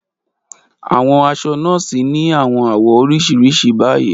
Aṣọ awọn nọọsi ni awọn awọ oriṣiriṣi bayi